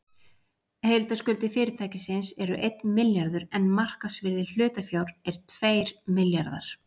Heildarskuldir fyrirtækisins eru einn milljarður en markaðsvirði hlutafjár er tveir milljarðar.